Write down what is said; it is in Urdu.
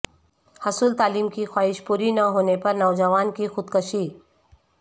حصول تعلیم کی خواہش پوری نہ ہونے پر نوجوان کی خودکشی